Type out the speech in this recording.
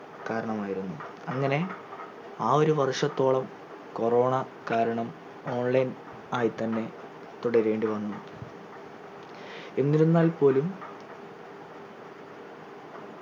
കാരണമായിരുന്നു അങ്ങനെ ആ ഒരു വർഷത്തോളം corona കാരണം online ആയി തന്നെ തുടരേണ്ടി വന്നു എന്നിരുന്നാൽ പോലും